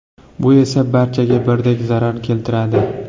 Bu esa barchaga birdek zarar keltiradi.